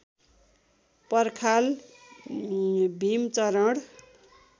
पर्खाल भीमचरण